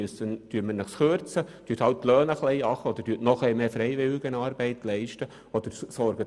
Sollen dafür die Löhne einfach ein bisschen gekürzt oder mehr Freiwilligenarbeit geleistet werden?